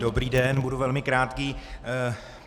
Dobrý den, budu velmi krátký.